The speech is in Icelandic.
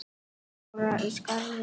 Dóra í Skarði.